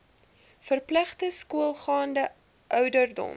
verpligte skoolgaande ouderdom